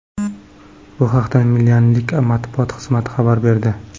Bu haqda milanliklar matbuot xizmati xabar berdi .